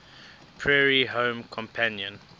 prairie home companion